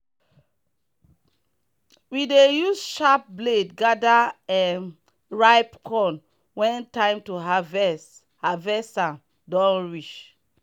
we dey use sharp blade gather um ripe corn when time to harvest harvest am don reach.